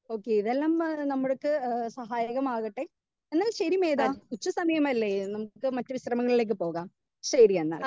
speaker 2 okay വെള്ളം നമ്മൾക്ക് സഹായകമാവട്ടെ എന്നാൽ ശരി മേത ഉച്ച സമയമല്ലേ നമുക്ക് മറ്റ് ശ്രെങ്ങളിലേക്ക് പോകാം ശരി എന്നാൽ